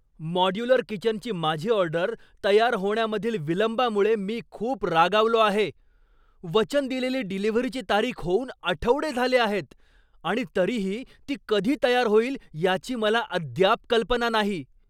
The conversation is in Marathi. मॉड्युलर किचनची माझी ऑर्डर तयार होण्यामधील विलंबामुळे मी खुप रागावलो आहे. वचन दिलेली डिलिव्हरीची तारीख होऊन आठवडे झाले आहेत आणि तरीही ती कधी तयार होईल याची मला अद्याप कल्पना नाही.